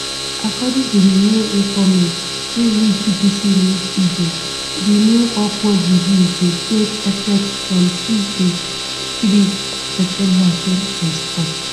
according to di new informate wey reach bbc news pidgin di new upward review go take effect from tuesday 3 september 2024